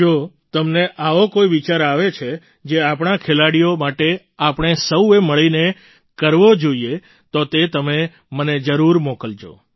જો તમને આવો કોઈ વિચાર આવે છે જે આપણા ખેલાડીઓ માટે આપણે સૌએ મળીને કરવો જોઈએ તો તે તમે મને જરૂર મોકલજો